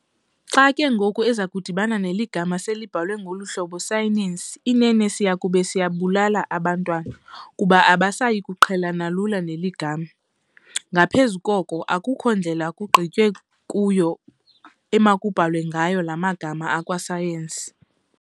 Xa ke ngoku ezakudibana neli gama selibhalwe ngolu hlobo "Sayenisi", inene siyakube siyababulala abantwana, kuba abasayikuqhelana lula neli gama. Ngaphezu koko, akukho ndlela kugqitywe kuyo emakubhalwe ngayo laa magama akwa-science.